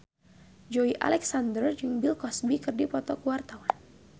Joey Alexander jeung Bill Cosby keur dipoto ku wartawan